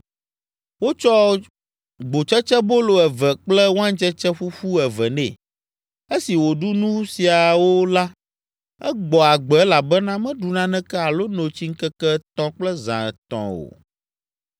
Wotsɔ gbotsetsebolo eve kple waintsetse ƒuƒu eve nɛ. Esi wòɖu nu siawo la, egbɔ agbe elabena meɖu naneke alo no tsi ŋkeke etɔ̃ kple zã etɔ̃ o.